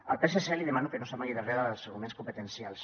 al psc li demano que no s’amagui darrere dels arguments competencials